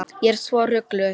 Ég er svo rugluð.